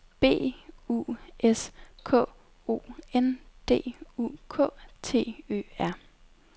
B U S K O N D U K T Ø R